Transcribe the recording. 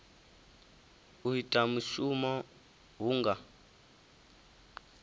u ita mushumo hu nga